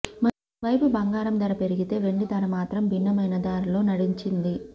మరోవైపు బంగారం ధర పెరిగితే వెండి ధర మాత్రం భిన్నమైన దారిలో నడిచింది